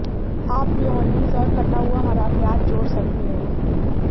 आप मेयोनेज़ और कटा हुआ हरा प्याज जोड़ सकते हैं